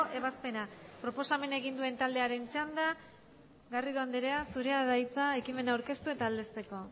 ebazpena proposamena egin duen taldearen txanda garrido andrea zurea da hitza ekimen aurkeztu eta aldezteko